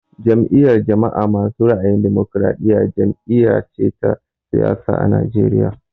Jam'iyar jama'a masu ra'ayin damokaraɗiya jam'iya ce ta siyasa a Najeriya